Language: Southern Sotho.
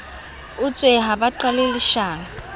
utswe ha ba qale leshano